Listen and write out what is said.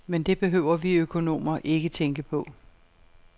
Men det behøver vi økonomer ikke tænke på.